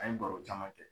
An ye baro caman kɛ